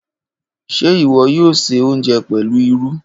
Ṣe iwọ yoo ṣe ounjẹ pẹlu lru?